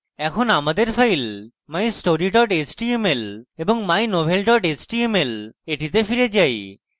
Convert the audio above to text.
এখন আমাদের files mystory html এবং mynovel html এ ফিরে যাই